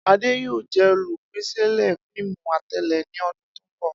Ade yoo jẹ olupilẹṣẹ fiimu atẹle ni ọdun to nbọ.